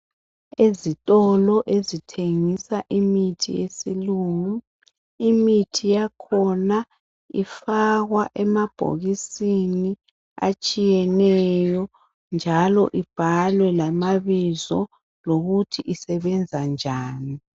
Ezitolo ezithengisa imithi yesilungu imithi yakhona ifakwa emabhokisini atshiyeneyo njalo ibhalwe lamabizo lokuthi isebenza njani